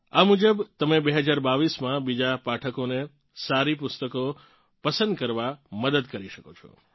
આ મુજબ તમે 2022મા બીજા પાઠકોને સારી પુસ્તકો પસંદ કરવામાં મદદ કરી શકશો